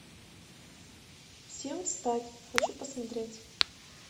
всем встать хочу посмотреть